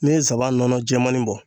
Ne ye n sabanan nɔnɔ jɛmani bɔ